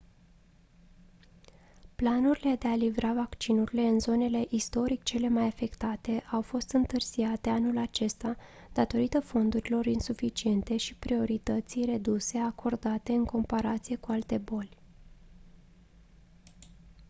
planurile de a livra vaccinurile în zonele istoric cele mai afectate au fost întârziate anul acesta datorită fondurilor insuficiente și a priorității reduse acordate în comparație cu alte boli